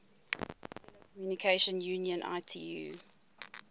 telecommunication union itu